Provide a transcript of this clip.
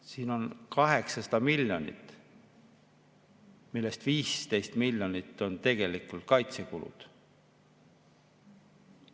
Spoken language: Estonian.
Siin on 800 miljonit, millest 15 miljonit on tegelikult kaitsekulud.